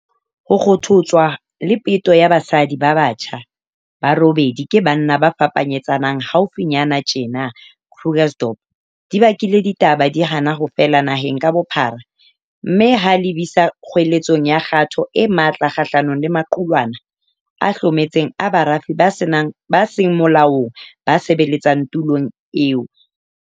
Ho kgothotswa le peto ya basadi ba batjha ba robedi ke banna ba fapanyetsana haufinyana tjena Krugersdorp di bakile ditaba di hana ho fela naheng ka bophara mme ha lebisa kgoeletsong ya kgato e matla kgahlanong le maqulwana a hlometseng a barafi ba seng molaong ba sebeletsang tulong eo.